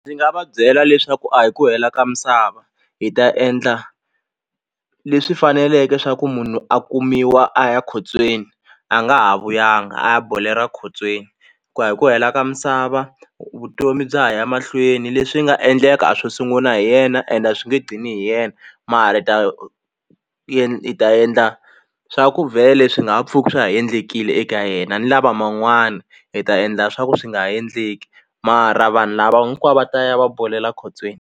Ndzi nga va byela leswaku a hi ku hela ka misava hi ta endla leswi faneleke swa ku munhu a kumiwa a ya ekhotsweni a nga ha vuyanga a ya bolela khotsweni ku a hi ku hela ka misava vutomi bya ha ya mahlweni leswi nga endleka a swo sunguna hi yena ende a swi nge dlini hi yena mara hi ta hi endla swa ku vhele swi nga ha pfuki swa ha endlekile eka yena ni lava man'wana hi ta endla swa ku swi nga ha endleki mara vanhu lava hinkwavo va ta ya va bolela khotsweni.